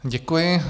Děkuji.